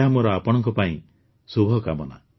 ଏହା ମୋର ଆପଣଙ୍କ ପାଇଁ ଶୁଭକାମନା